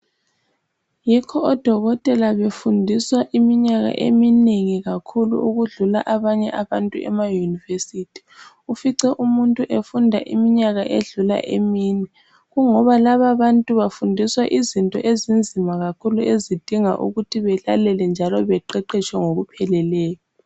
Yikho odokotela befundiswa iminyaka eminengi kakhulu ukudlula abanye abantu ema univesithi ufice umuntu efunda iminyaka edlula emine kungoba laba abantu bafundiswa izinto ezinzima kakhulu ezidinga ukuthi belalele njalo beqeqeshwe ngokupheleleyo